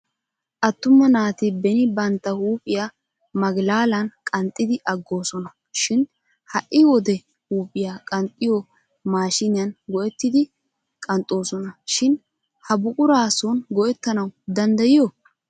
Attuma naati beni bantta huuphiya magilaalan qanxxidi aggoosona shin ha'i wode huuphiya qanxxiyo maashiniyan go'ettidi qanxxoosona shin ha buquraa son go'ettanawu danddayiyo?